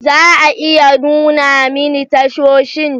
Za a iya nuna min tashoshin?